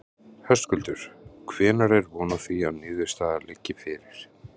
Höskuldur: Hvenær er von á því að niðurstaða liggi fyrir?